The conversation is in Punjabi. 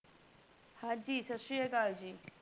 ਹਾਂਜੀ ਸਸ਼੍ਰੀ ਅਕਾਲ ਜੀ.